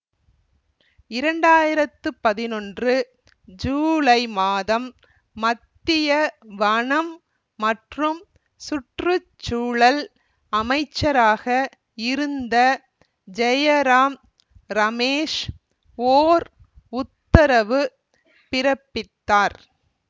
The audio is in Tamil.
இரண்டு ஆயிரத்தி பதினொன்று ஜுலை மாதம் மத்திய வனம் மற்றும் சுற்று சூழல் அமைச்சராக இருந்த ஜெயராம் ரமேஷ் ஓர் உத்தரவு பிறப்பித்தார்